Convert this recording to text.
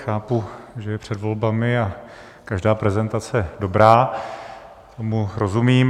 Chápu, že je před volbami a každá prezentace dobrá, tomu rozumím.